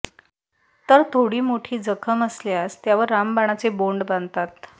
तर थोडी मोठी जखम असल्यास त्यावर रामबाणचे बोंड बांधतात